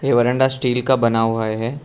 बरांडा steel का बना हुआ है।